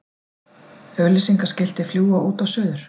Auglýsingaskilti fljúga út og suður